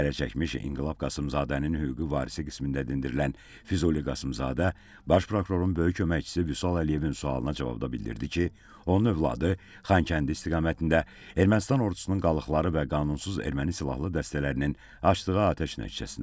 Zərərçəkmiş İnqilab Qasımzadənin hüquqi varisi qismində dindirilən Füzuli Qasımzadə Baş prokurorun böyük köməkçisi Vüsal Əliyevin sualına cavabda bildirdi ki, onun övladı Xankəndi istiqamətində Ermənistan ordusunun qalıqları və qanunsuz erməni silahlı dəstələrinin açdığı atəş nəticəsində həlak olub.